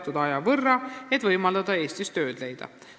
] võrra, et võimaldada Eestis tööd leida.